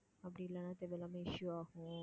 அப்படி இல்லைன்னா தேவையில்லாம issue ஆகும்